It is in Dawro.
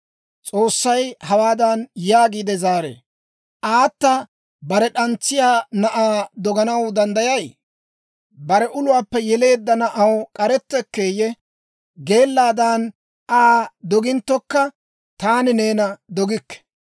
S'oossay hawaadan yaagiide zaaree; «Aata bare d'antsiyaa na'aa doganaw danddayay? Bare uluwaappe yeleedda na'aw k'arettekkeeyye? Geellaadan Aa doginttokka, taani neena dogikke!